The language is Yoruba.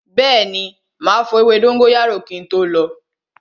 Bẹẹni, ma fọ ewé dóngóyárò kin tó lo